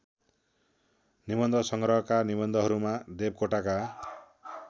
निबन्धसङ्ग्रहका निबन्धहरूमा देवकोटाका